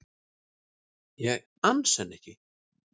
Ég ansa henni ekki.